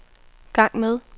gang med